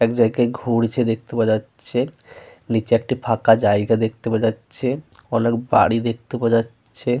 একজায়গায় ঘুরছে দেখতে পাওয়া যাচ্ছে। নিচে একটি ফাঁকা জায়গা দেখতে পাওয়া যাচ্ছে। অনেক বাড়ি দেখতে পাওয়া যাচ্ছে।